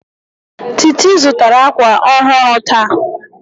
Titi zụtara akwa ọhụrụ taa